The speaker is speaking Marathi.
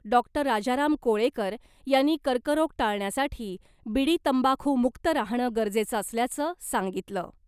डॉक्टर राजाराम कोळेकर यांनी कर्करोग टाळण्यासाठी बीडी, तंबाखूमुक्त राहणं गरजेचं असल्याचं सांगितलं .